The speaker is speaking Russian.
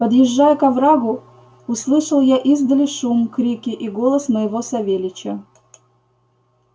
подъезжая к оврагу услышал я издали шум крики и голос моего савельича